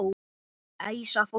Æsa fólk upp?